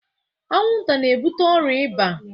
Anwụnta na-ebute ọrịa iba